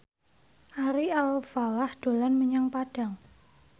Ari Alfalah dolan menyang Padang